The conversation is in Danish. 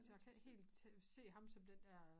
Så jeg kan ikke helt se ham som den dér